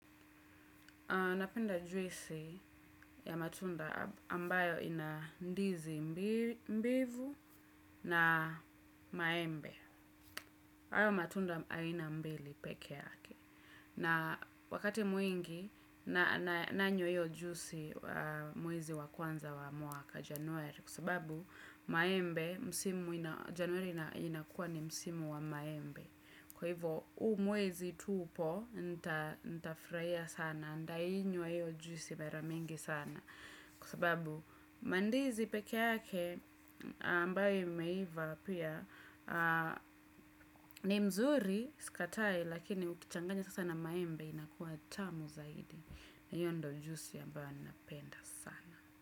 Napenda juisi ya matunda ambayo ina ndizi mbivu na maembe. Hayo matunda aina mbili peke yake. Na wakati mwingi nanywa iyo juisi mwezi wa kwanza wa mwaka januari. Kwa sababu maembe msimu ina januari inakuwa ni msimu wa maembe. Kwa hivyo, huu mwezi tupo, nitafurahia sana, ntainywa iyo juisi mara mingi sana. Kwa sababu, mandizi peke yake, ambayo imeiva pia, ni mzuri, sikatai, lakini ukichanganya sasa na maembe, inakuwa tamu zaidi. Iyo ndio juisi ambayo napenda sana.